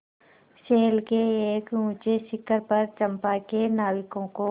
शैल के एक ऊँचे शिखर पर चंपा के नाविकों को